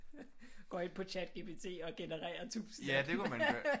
Går ind på Chatgpt og genererer 1000